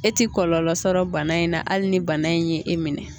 E ti kɔlɔlɔ sɔrɔ bana in na hali ni bana in ye e minɛ.